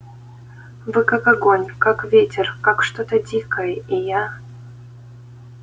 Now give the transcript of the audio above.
вы как огонь как ветер как что-то дикое и я